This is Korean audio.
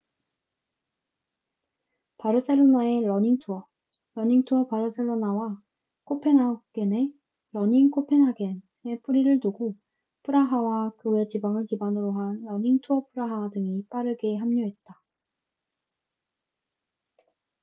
"바르셀로나의 러닝 투어 "러닝 투어 바르셀로나""와 코펜하겐의 "러닝 코펜하겐""에 뿌리를 두고 프라하와 그 외 지방을 기반으로 한 "러닝 투어 프라하" 등이 빠르게 합류했다.